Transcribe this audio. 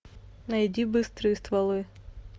найди быстрые стволы